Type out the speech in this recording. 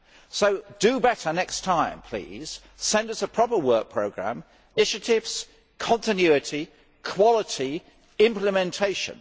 So do better next time, please. Send us a proper work programme initiatives, continuity, quality, implementation.